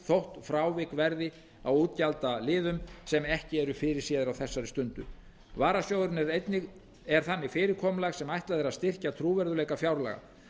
þótt frávik verði á útgjaldaliðum sem ekki eru fyrirséðir á þessari stundu varasjóðurinn er þannig fyrirkomulag sem er ætlað að styrkja trúverðugleika fjárlaga